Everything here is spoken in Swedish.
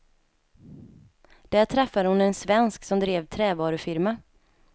Där träffade hon en svensk som drev trävarufirma.